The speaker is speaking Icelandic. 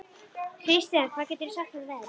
Kirsten, hvað geturðu sagt mér um veðrið?